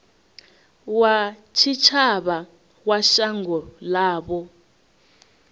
wa tshitshavha wa shango ḽavho